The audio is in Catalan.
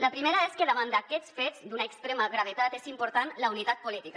la primera és que davant d’aquests fets d’una extrema gravetat és important la unitat política